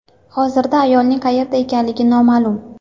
Hozirda ayolning qayerda ekanligi noma’lum.